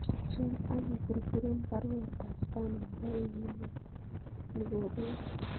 Swen akiburburen baruet ab Spano nebo wikit nikopegu